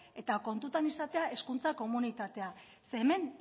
eta kontuan izatea hezkuntza komunitatea zeren eta hemen